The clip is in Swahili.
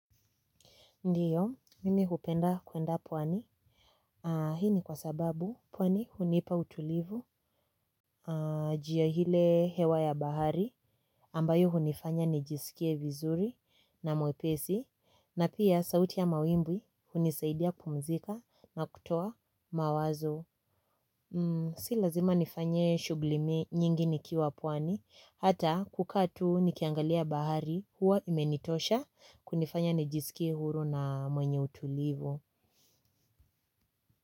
Ndiyo, mimi hupenda kuenda pwani. Hii ni kwa sababu pwani hunipa utulivu njia ile hewa ya bahari ambayo hunifanya nijisikie vizuri na mwepesi na pia sauti ya mawimbi hunisaidia kupumzika na kutoa mawazo. Si lazima nifanye shughuli mi nyingi nikiwa pwani hata kukaa tu nikiangalia bahari huwa imenitosha kunifanya nijisikie huru na mwenye utulivu.